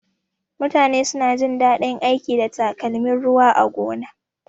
Mutane suna jin daɗin aiki da takalmin ruwa a gona.